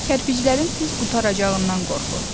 Kərpiclərin tez qurtaracağından qorxurdu.